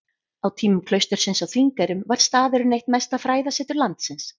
Á tímum klaustursins á Þingeyrum var staðurinn eitt mesta fræðasetur landsins.